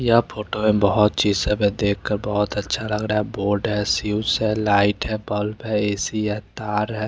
यह फोटो में बहोत चीज सब देखकर बहोत अच्छा लग रहा है बोर्ड है स्विच है लाइट है बल्ब है ए_सी है तार है।